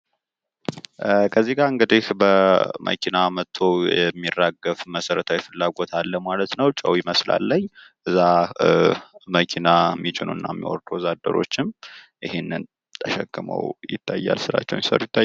ከዚህ ጋ እንግዲህ በመኪና መቶ የሚራገፍ መሰረታዊ ፍላጎት አለ ማለት ነው ፤ ጨው ይመስላል ላይ እዛ መኪና የሚጭኑ እና የሚያወርዱ ወዛደሮችም ይህንን ተሸክመዉ ይታያሉ ፤ ስራቸዉን እየሰሩ ይታያሉ።